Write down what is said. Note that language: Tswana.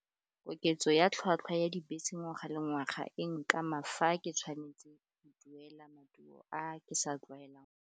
Koketso ya tlhwatlhwa ya dibese ngwaga le ngwaga, e nkama fa ke tshwanetse go duela maduo a ke sa tlwaelang.